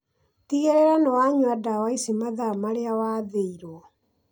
Tigĩrĩra nĩwanyua ndawa ici mathaa marĩa wathĩirwo